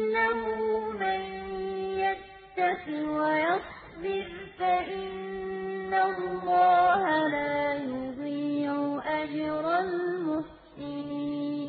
قَالُوا أَإِنَّكَ لَأَنتَ يُوسُفُ ۖ قَالَ أَنَا يُوسُفُ وَهَٰذَا أَخِي ۖ قَدْ مَنَّ اللَّهُ عَلَيْنَا ۖ إِنَّهُ مَن يَتَّقِ وَيَصْبِرْ فَإِنَّ اللَّهَ لَا يُضِيعُ أَجْرَ الْمُحْسِنِينَ